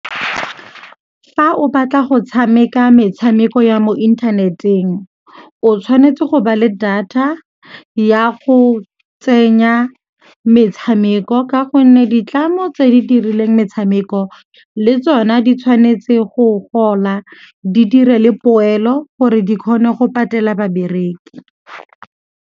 Fa o batla go tshameka metshameko ya mo inthaneteng o tshwanetse go ba le data ya go tsenya metshameko ka gonne ditlamo tse di dirileng metshameko le tsona di tshwanetse go gola, di dire le poelo gore di kgone go patela babereki.